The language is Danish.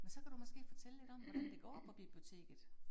Men så kan du måske fortælle lidt om, hvordan det går på biblioteket